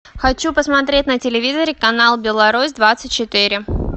хочу посмотреть на телевизоре канал беларусь двадцать четыре